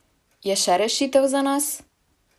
Je še rešitev za nas?